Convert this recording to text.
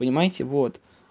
понимаете вот